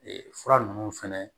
Ee fura nunnu fɛnɛ